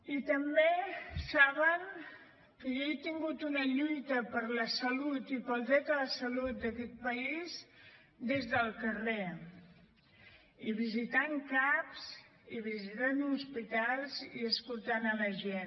i també saben que jo he tingut una lluita per la salut i pel dret a la salut d’aquest país des del carrer i visitant caps i visitant hospitals i escoltant la gent